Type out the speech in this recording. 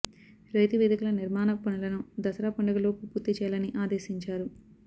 రైతు వేదికల నిర్మాణ పనులను దసరా పండగలోపు పూర్తి చేయాలని ఆదేశించారు